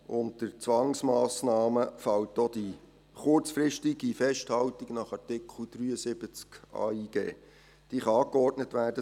Unter Zwangsmassnahmen fällt auch die kurzfristige Festhaltung nach Artikel 73 des Bundesgesetzes über die Ausländerinnen und Ausländer und über die Integration (Ausländer- und Inte- grationsgesetz, AIG).